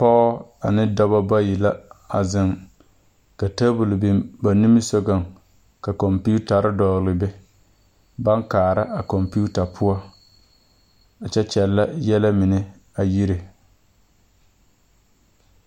Pɔge ane dɔba bayi la a zeŋ ka tabol biŋ ba nimisogoŋ ka kɔmpetare dɔgle be baŋ kaara a kɔmpeta poɔ kyɛ kyɛllɛ yɛlɛ mine a yiri.